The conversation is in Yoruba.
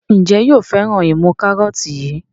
Njé yóò féràn imú karọọti yí?